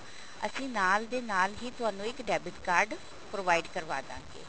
ਅਸੀਂ ਨਾਲ ਦੇ ਨਾਲ ਹੀ ਤੁਹਾਨੂੰ ਇੱਕ debit card provide ਕਰਵਾ ਦਵਾਂਗੇ